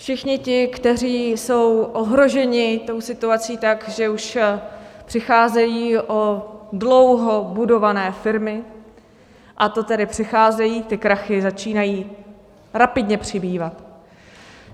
Všichni ti, kteří jsou ohroženi tou situací tak, že už přicházejí o dlouho budované firmy, a to tedy přicházejí, ty krachy začínají rapidně přibývat.